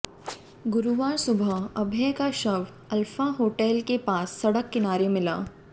गुरुवार सुबह अभय का शव अल्फा होटल के पास सड़क किनारे मिला